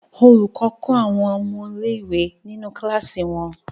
Olùkọ́ kọ́ àwọn ọmọ ilé-ìwé nínú kíláàsì wọn.